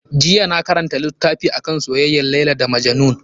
Jiya na karanta littafi akan soyayyar Laila da Majnun.